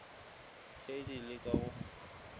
ge di le ka go